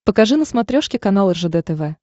покажи на смотрешке канал ржд тв